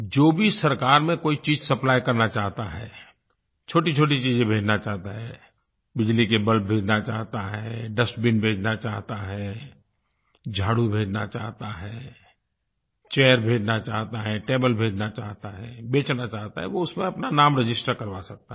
जो भी सरकार में कोई चीज़ सप्लाई करना चाहता है छोटीछोटी चीज़ें भेजना चाहता है बिजली के बल्ब भेजना चाहता है डस्टबिन भेजना चाहता है झाड़ू भेजना चाहता है चैर भेजना चाहता है टेबल भेजना चाहता है बेचना चाहता है वो उसमें अपना नाम रजिस्टर करवा सकता है